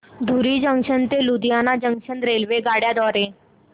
धुरी junction ते Ludhiana junction रेल्वेगाड्यां द्वारे